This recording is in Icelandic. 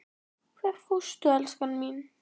Hvert fórstu, elskan mín?